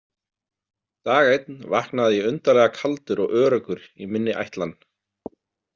Dag einn vaknaði ég undarlega kaldur og öruggur í minni ætlan.